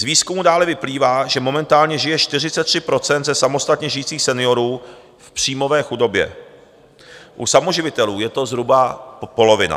Z výzkumu dále vyplývá, že momentálně žije 43 % ze samostatně žijících seniorů v příjmové chudobě, u samoživitelů je to zhruba polovina.